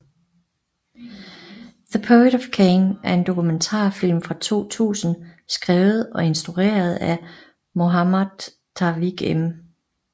The Poet Of Cane er en dokumentarfilm fra 2000 skrevet og instrueret af Mohammad Tawfik M